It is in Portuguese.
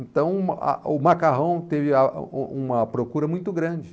Então o macarrão teria uma procura muito grande.